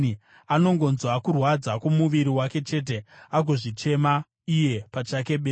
Anongonzwa kurwadza kwomuviri wake chete, agozvichema iye pachake bedzi.”